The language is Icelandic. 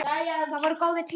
Það voru góðir tímar.